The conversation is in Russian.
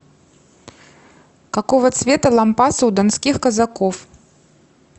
какого цвета лампасы у донских казаков